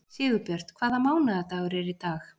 Sigurbjört, hvaða mánaðardagur er í dag?